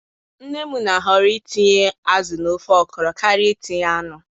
Nne m na-ahoro itinye azụ n'ofe okro karịa itinye anụ